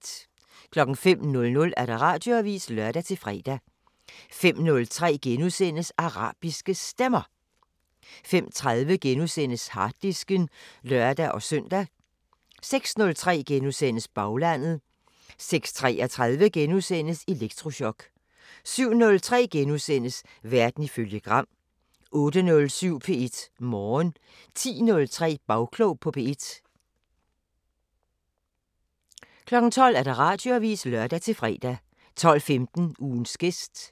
05:00: Radioavisen (lør-fre) 05:03: Arabiske Stemmer * 05:30: Harddisken *(lør-søn) 06:03: Baglandet * 06:33: Elektrochok * 07:03: Verden ifølge Gram * 08:07: P1 Morgen 10:03: Bagklog på P1 12:00: Radioavisen (lør-fre) 12:15: Ugens gæst